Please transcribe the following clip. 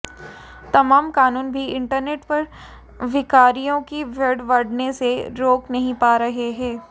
तमाम कानून भी इंटरनेट पर भिखारियों की भीड़ बढऩे से रोक नहीं पा रहे हैं